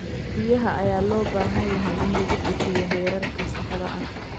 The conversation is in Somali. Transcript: Biyaha ayaa loo baahan yahay in lagu bixiyo heerka saxda ah.